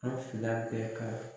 An fila kɛ ka